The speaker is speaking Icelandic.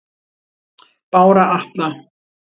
Bára Atla